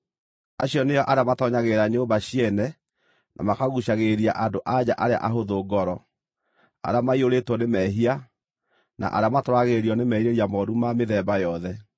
Acio nĩo arĩa matoonyagĩrĩra nyũmba ciene na makaguucagĩrĩria andũ-a-nja arĩa ahũthũ ngoro, arĩa maiyũrĩtwo nĩ mehia, na arĩa matwaragĩrĩrio nĩ merirĩria mooru ma mĩthemba yothe.